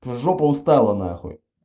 жопа устала нахуй